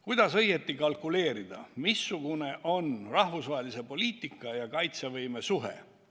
Kuidas õieti kalkuleerida, missugune on rahvusvahelise poliitika ja meie enda kaitsevõime suhe?